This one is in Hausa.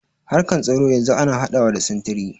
Harkar tsaro yanzu ana haɗawa da sintiri.